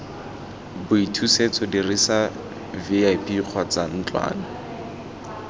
boithusetso dirisa vip kgotsa ntlwana